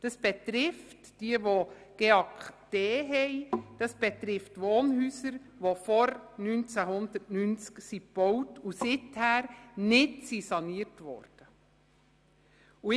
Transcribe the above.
Das betrifft diejenigen mit GEAK D, also Wohnhäuser, die vor dem Jahr 1990 gebaut und seither nicht saniert worden sind.